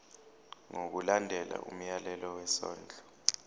ngokulandela umyalelo wesondlo